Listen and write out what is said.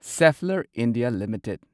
Schaeffler India limited